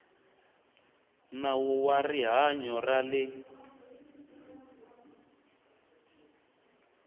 nawu wa rihanyo ra le